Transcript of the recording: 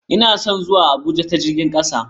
Ina son zuwa Abuja ta jirgin kasa.